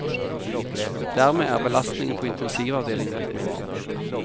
Dermed er belastningen på intensivavdelingen blitt mindre.